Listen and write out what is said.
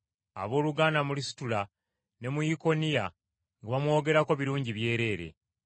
abooluganda mu Lusitula ne mu Ikoniya nga bamwogerako birungi byereere.